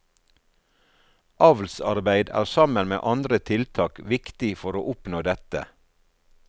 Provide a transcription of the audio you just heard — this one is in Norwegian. Avlsarbeid er sammen med andre tiltak viktig for å oppnå dette.